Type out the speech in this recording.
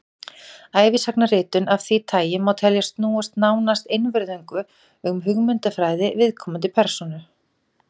ævisagnaritun af því tagi má teljast snúast nánast einvörðungu um hugmyndafræði viðkomandi persónu